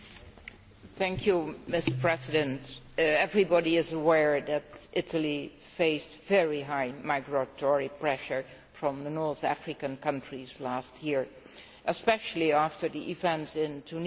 Mr President, everybody is aware that Italy faced very high migratory pressure from North African countries last year, especially after the events in Tunisia and Libya.